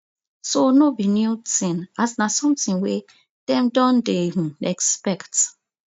so no be new tin as na sometin wey dem don dey um expect